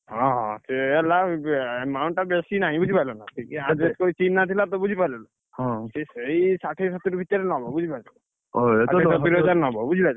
ହଁ, ହଁ, ସିଏ ହେଲା amount ଟା ବେଶୀ ନାହିଁ ବୁଝି ପାଇଲ ନା ଟିକେ adjust କରି ଚିହ୍ନା ଥିଲା ତ ବୁଝିପାଇଲ ନା? ସେ ସେଇ ଷାଠିଏ ସତୁରୀ ଭିତରେ ନବ, ବୁଝିପାରୁଛ ଷାଠିଏ ସତୁରୀ ହଜାର ନବ ବୁଝିପାରିଲୁ?